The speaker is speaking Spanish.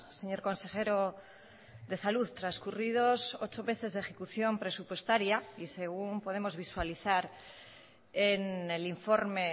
señor consejero de salud transcurridos ocho meses de ejecución presupuestaria y según podemos visualizar en el informe